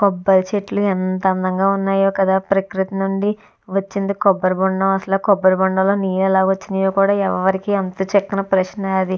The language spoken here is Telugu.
కొబ్బరి చెట్లు ఎంత అందంగా ఉన్నాయో కదా ప్రకృతి నుండి వచ్చింది కొబ్బరి బొండం. కొబ్బరి బొండాల్లో నుంచి నీళ్లు ఎలా వచ్చింది అనేది అంత చిక్కని ప్రశ్న అది.